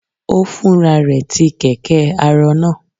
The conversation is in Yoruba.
Ó Fúnra rẹ tí kẹ̀kẹ́-arọ náà?